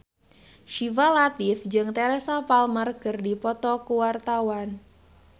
Syifa Latief jeung Teresa Palmer keur dipoto ku wartawan